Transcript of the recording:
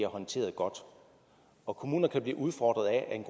håndteret godt kommuner kan blive udfordret af at en